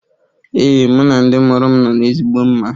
Ee, mụ na ndị mụrụ m nọ n'ezigbo mma.